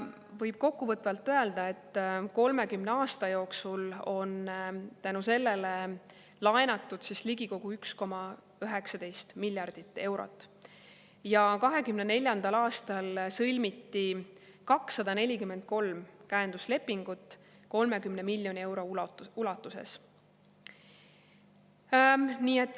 Võib kokkuvõtvalt öelda, et 30 aasta jooksul on tänu sellele laenatud ligikaudu 1,19 miljardit eurot ja 2024. aastal sõlmiti 243 käenduslepingut 30 miljoni euro ulatuses.